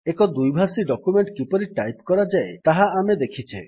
ଏକ ଦ୍ୱିଭାଷୀ ଡକ୍ୟୁମେଣ୍ଟ୍ କିପରି ଟାଇପ୍ କରାଯାଏ ତାହା ଆମେ ଦେଖିଛେ